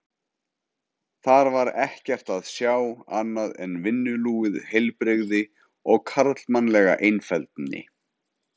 Þar var ekkert að sjá annað en vinnulúið heilbrigði og karlmannlega einfeldni.